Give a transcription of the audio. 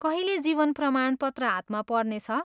कहिले जीवन प्रमाणपत्र हातमा पर्नेछ?